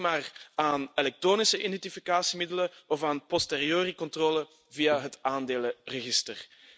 Denk maar aan elektronische identificatiemiddelen of aan posteriori controle via het aandelenregister.